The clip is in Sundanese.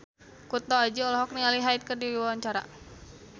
Kunto Aji olohok ningali Hyde keur diwawancara